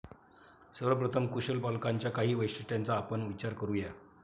सर्वप्रथम, कुशल पालकांच्या काही वैशिष्ट्यांचा आपण विचार करू या.